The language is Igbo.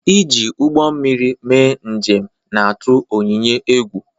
E ji ugbọ mmiri mee njem na-atụ Onyinye egwu